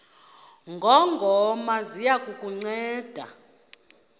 ngongoma ziya kukunceda